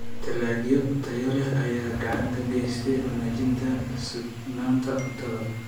Dalagyo tayo leh ayaa gacan ka geysta wanaajinta sugnaanta cuntada.